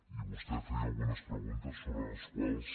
i vostè feia algunes preguntes sobre les quals